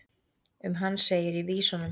um hann segir í vísunum